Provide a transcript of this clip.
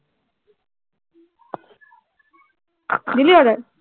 দিলি order